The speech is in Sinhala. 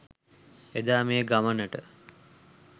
එදා මේ ගමනට